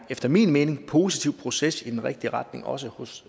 efter min mening en positiv proces i den rigtige retning også hos